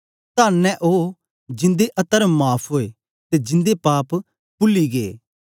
तन्न ऐ ओ जिन्दे अतर्म माफ़ ओए ते जिन्दे पाप पुल्ले गै